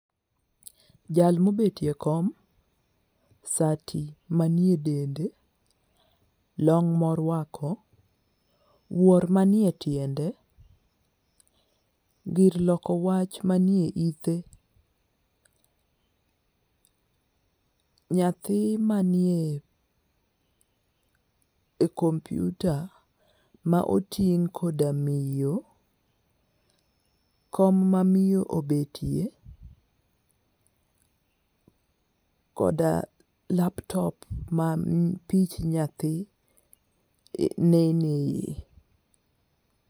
Jal mobetie kom, sati manie dende , long morwako, wuor manie tiende, gir loko wach manie ite, nyathi manie komputa ma oting' koda miyo , kom ma miyo obetie , koda laptop ma pich nyathi nene.